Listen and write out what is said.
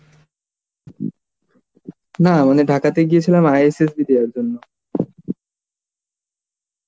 না মানে Dhaka তে গিয়েছিলাম ISSB দিতে যাওয়ার জন্য